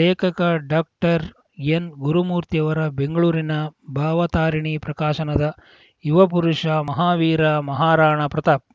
ಲೇಖಕ ಡಾಕ್ಟರ್ಎನ್‌ಗುರುಮೂರ್ತಿ ಅವರ ಬೆಂಗಳೂರಿನ ಭಾವತಾರಿಣಿ ಪ್ರಕಾಶನದ ಯುವಪುರುಷ ಮಹಾವೀರ ಮಹಾರಾಣಾ ಪ್ರತಾಪ್‌